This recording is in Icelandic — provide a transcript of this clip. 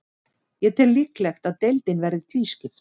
Ég tel líklegt að deildin verði tvískipt.